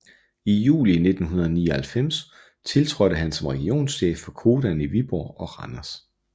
I juli 1999 tiltrådte han som regionschef for Codan i Viborg og Randers